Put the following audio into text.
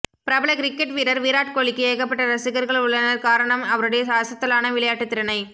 பிரபல கிரிக்கெட் வீரர் விராட் கோலிக்கு ஏகப்பட்ட ரசிகர்கள் உள்ளனர் காரணம் அவருடைய அசத்தலான விளையாட்டு திறனை